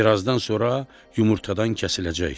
Birazdan sonra yumurtadan kəsiləcək.